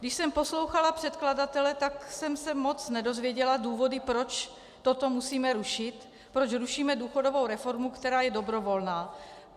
Když jsem poslouchala předkladatele, tak jsem se moc nedozvěděla důvody, proč toto musíme rušit, proč rušíme důchodovou reformu, která je dobrovolná.